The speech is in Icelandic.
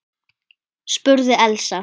spurði Elsa.